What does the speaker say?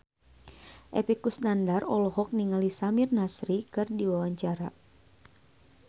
Epy Kusnandar olohok ningali Samir Nasri keur diwawancara